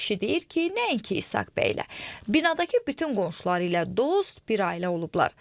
Qərib kişi deyir ki, nəinki İsaq bəylə, binadakı bütün qonşuları ilə dost, bir ailə olublar.